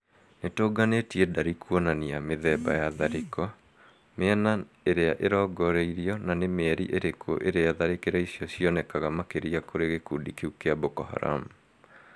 Nitũnganĩtie ndari kuonania mĩthemba ya tharĩko, mĩena ĩrĩa ĩrongoreirio na nĩ mĩeri ĩrĩku ĩrĩa tharĩkĩra icio cionekaga makĩria kũrĩ gĩkundi kĩu kĩa Boko Haram